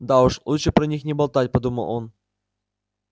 да уж лучше про них не болтать подумал он